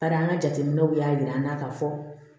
Bari an ka jateminɛw y'a jira an na ka fɔ